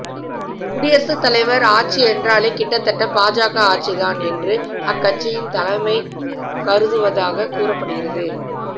குடியரசு தலைவர் ஆட்சி என்றாலே கிட்டத்தட்ட பாஜக ஆட்சிதான் என்று அக்கட்சியின் தலைமை கருதுவதாக கூறப்படுகிறது